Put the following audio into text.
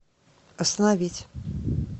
остановить